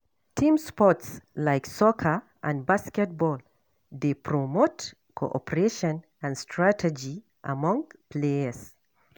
Team sports like soccer and basketball dey promote cooperation and strategy among players.